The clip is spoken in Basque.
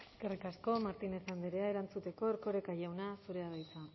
eskerrik asko martínez andrea erantzuteko erkoreka jauna zurea da hitza